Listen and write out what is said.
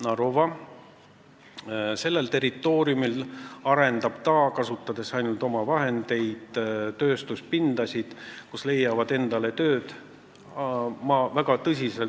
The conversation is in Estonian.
Ta arendab ainult omavahendeid kasutades endise mööblivabriku Narova territooriumil tööstuspindasid, kus leiavad endale töö 450–600 inimest.